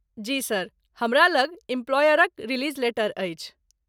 जी sir, हमरा लग इम्प्लायरक रिलीज लेटर अछि।